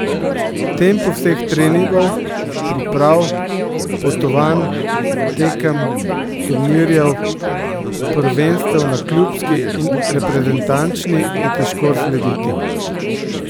Tempu vseh treningov, priprav, potovanj, tekem, turnirjev, prvenstev na klubski in reprezentančni je težko slediti.